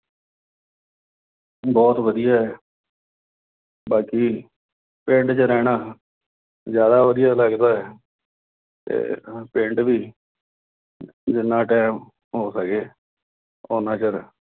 ਬਹੁਤ ਵਧੀਆ। ਬਾਕੀ ਪਿੰਡ ਚ ਰਹਿਣਾ, ਜ਼ਿਆਦਾ ਵਧੀਆ ਲੱਗਦਾ, ਤੇ ਪਿੰਡ ਵੀ ਜਿੰਨਾ time ਹੋ ਸਕੇ ਉਨਾ ਚਿਰ